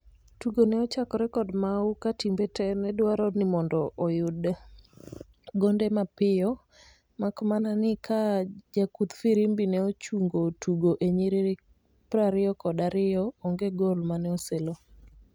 tugo ne ochakore kod mawu ka timbe tee ne dwaro ni mondo oyud gonde mapiyo makmana ni ka jakudh firimbi ne ochungo tugo e nyiriri prariyokod ariyo onge gol mane oselo